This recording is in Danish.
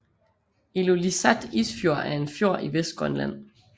Ilulissat Isfjord er en fjord i Vestgrønland